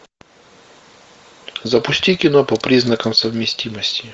запусти кино по признакам совместимости